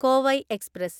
Kovai express